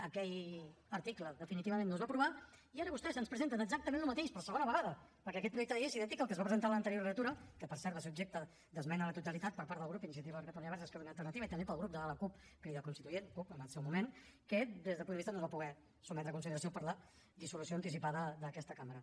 aquell article definitivament no es va aprovar i ara vostès ens presenten exactament el mateix per segona vegada perquè aquest projecte de llei és idèntic al que es va presentar a l’anterior legislatura que per cert va ser objecte d’esmena a la totalitat per part del grup iniciativa per catalunya verds esquerra unida i alternativa i també pel grup de la cup crida constituent cup en el seu moment que des del punt de vista no es va poder sotmetre a consideració per la dissolució anticipada d’aquesta cambra